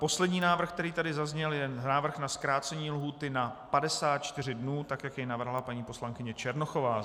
Poslední návrh, který tady zazněl, je návrh na zkrácení lhůty na 54 dnů tak, jak jej navrhla paní poslankyně Černochová.